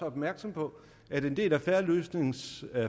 opmærksom på at en del af fair løsnings